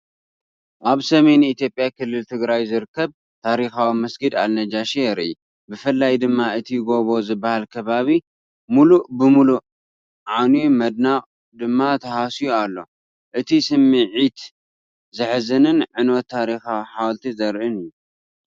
ኣብ ሰሜን ኢትዮጵያ ክልል ትግራይ ዝርከብ ታሪኻዊ መስጊድ ኣልናጃሺ የርኢ። ብፍላይ ድማ እቲ ጎቦ ዝበሃል ከባቢ ሙሉእ ብሙሉእ ዓንዩ መናድቕ ድማ ተሃስዩ ኣሎ። እቲ ስምዒት ዘሕዝንን ዕንወት ታሪኻዊ ሓወልቲ ዘርኢን እዩ።